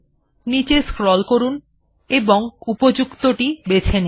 নীচে স্ক্রল করুন এবং উপযুক্তটি বেছে নিন